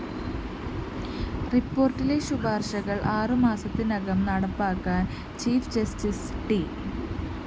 റിപ്പോര്‍ട്ടിലെ ശുപാര്‍ശകള്‍ ആറു മാസത്തിനകം നടപ്പാക്കാന്‍ ചീഫ്‌ ജസ്റ്റിസ്‌ ട്‌